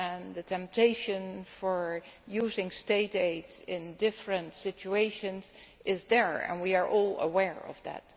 The temptation to use State aid in different situations is there, and we are all aware of that.